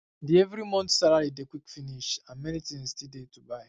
the every month salary dey quick finish and many things still dey to buy